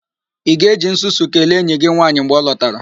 Ị ga-eji nsusu kelee enyi gị nwaanyị mgbe ọ lọtara?